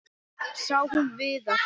Sá hún Viðar?